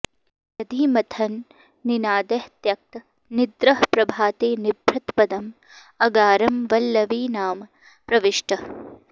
दधि मथन निनादैः त्यक्त निद्रः प्रभाते निभृत पदम् अगारम् वल्लवीनाम् प्रविष्टः